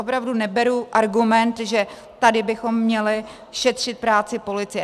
Opravdu neberu argument, že tady bychom měli šetřit práci policie.